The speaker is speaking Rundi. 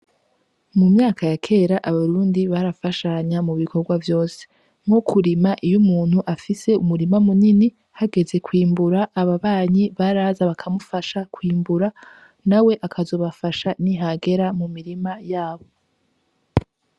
Mu myaka ya kera Abarundi barafashanya mu bikorwa vyose nko kurima iyo umuntu afise umurima munini hageze kwimbura ababanyi baraza bakamufasha kwimbura nawe akazobafasha nihagera mu mirima yabo.